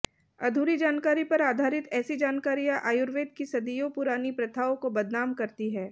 अधूरी जानकारी पर आधारित ऐसी जानकारियां आयुर्वेद की सदियों पुरानी प्रथाओं को बदनाम करती हैं